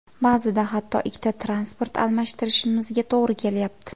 Ba’zida hatto ikkita transport almashtirishimizga to‘g‘ri kelyapti.